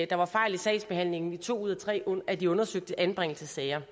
der var fejl i sagsbehandlingen i to ud af tre af de undersøgte anbringelsessager